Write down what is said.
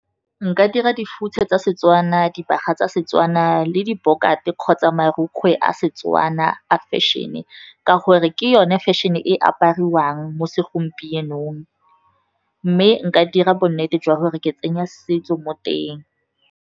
Nka dira dihutshe tsa seTswana, dibaga tsa Setswana le diborgate kgotsa marukgwe a Setswana a fashion-e ka gore ke yone fashion-e e apariwang mo segompienong, mme nka dira bonnete jwa gore ke tsenya setso mo teng.